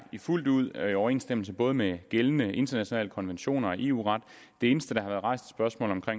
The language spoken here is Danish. fuldt ud i overensstemmelse både med gældende internationale konventioner og eu ret det eneste der har været rejst spørgsmål